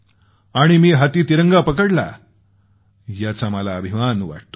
आणि मी हाती तिरंगा पकडला त्याचा मला अभिमान वाटतो